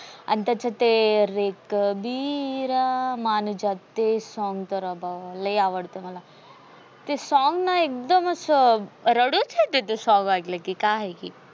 आणि त्याच्यात ते रे कबिरा मान जा ते song तर आता लय आवडत मला. ते song ना एकदम अस रडूच येत ते song एकल की काय आहे की